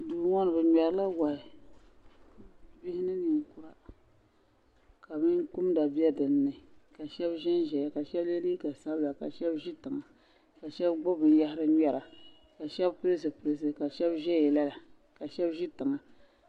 Duu ŋɔ ni bɛ ŋmerila wahi bihi ni ninkura ka binkumda be din ni ka shɛbi ʒenʒeya ka shɛbi ye liiga sabila ka ʒe tiŋa ka shɛbi gbubi binyahari ŋmera ka shɛbi pili zipiliti ka shɛbi ʒeya laa ka shɛbi ʒi tiŋa.